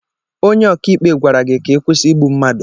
Onye ọka ikpe gwara gị ka ị kwụsị igbu mmadụ.